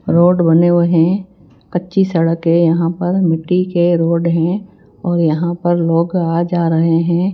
Road बने हुए हैं कच्ची सड़क है यहां पर मिट्टी के रोड हैं और यहां पर लोग आ जा रहे हैं।